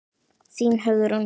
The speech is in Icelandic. Þín Hugrún.